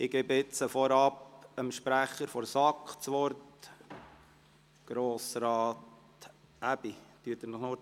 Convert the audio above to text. Zuerst gebe ich nun dem Sprecher der SAK, Grossrat Aebi, das Wort.